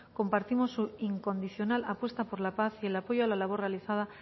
compartimos su incondicional apuesta por la paz y el apoyo a la labor realizada